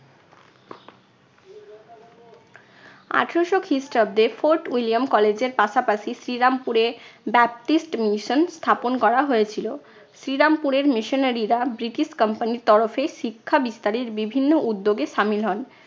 আঠারোশো খ্রিস্টাব্দে Fort William college এর পাশাপাশি শ্রীরামপুরে ব্যাপটিস্ট mission স্থাপন করা হয়েছিল। শ্রীরামপুরের missionary রা ব্রিটিশ company র তরফে শিক্ষা বিস্তারের বিভিন্ন উদ্যোগে সামিল হন।